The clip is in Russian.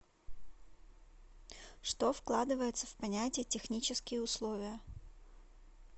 что вкладывается в понятие технические условия